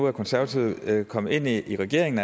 at konservative nu er kommet ind i regeringen